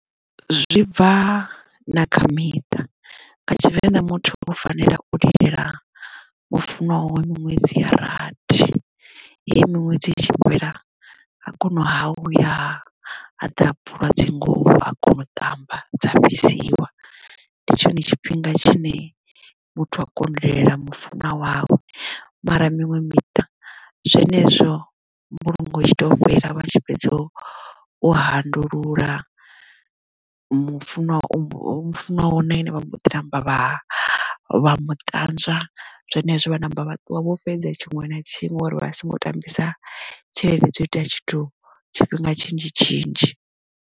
Zwi bva na kha miṱa nga tshivenḓa muthu u fanela u lilela mufunwa wawe miṅwedzi ya rathi hei miṅwedzi i tshi fhela a kona ha a vhuya aḓa bvula dzinguvho a kona u tamba dza fhisiwa ndi tshone tshifhinga tshine muthu a kono lilela mufunwa wawe mara miṅwe miṱa zwenezwo mbulungo i tshi to fhela vha tshi fhedza u handululwa mufunwa mufunwa na ene vha mbo ḓi namba vha vha mu utanzwa zwenezwo vha ṋamba vha ṱuwa vho fhedza tshiṅwe na tshiṅwe uri vha songo tambisa tshelede dzo iteya tshithu tshifhinga tshinzhi tshinzhi.